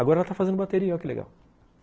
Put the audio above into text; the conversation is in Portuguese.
Agora ela está fazendo bateria, olha que legal.